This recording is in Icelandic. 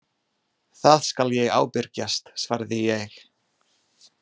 Það skal ég ábyrgjast svaraði ég.